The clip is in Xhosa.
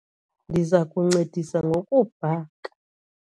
Ndiza kuncedisa ngokubhaka.